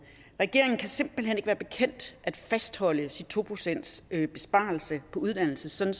regeringen kan simpelt hen ikke være bekendt at fastholde sin to procentsbesparelse på uddannelse sådan